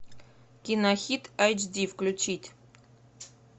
кинохит эйчди включить